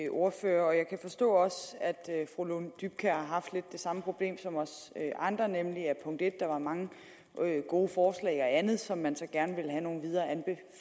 ordfører og jeg kan også forstå at fru lone dybkjær har haft lidt det samme problem som os andre nemlig at der var mange gode forslag og andet som man så gerne ville have nogle videre